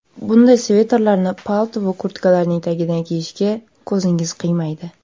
Bunday sviterlarni palto yoki kurtkalarning tagidan kiyishga ko‘zingiz qiymaydi.